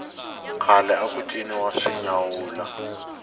khale aku ciniwa swinyawula